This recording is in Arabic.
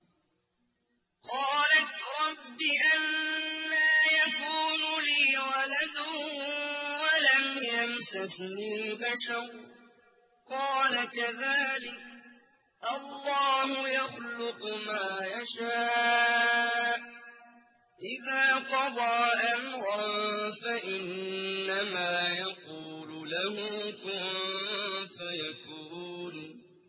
قَالَتْ رَبِّ أَنَّىٰ يَكُونُ لِي وَلَدٌ وَلَمْ يَمْسَسْنِي بَشَرٌ ۖ قَالَ كَذَٰلِكِ اللَّهُ يَخْلُقُ مَا يَشَاءُ ۚ إِذَا قَضَىٰ أَمْرًا فَإِنَّمَا يَقُولُ لَهُ كُن فَيَكُونُ